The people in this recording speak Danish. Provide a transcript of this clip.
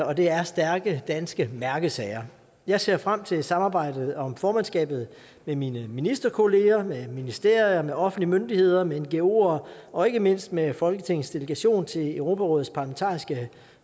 og det er stærke danske mærkesager jeg ser frem til samarbejdet om formandskabet med mine ministerkolleger med ministerier med offentlige myndigheder med ngoer og ikke mindst med folketingets delegation til europarådets parlamentariske